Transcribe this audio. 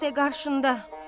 İşdə qarşında.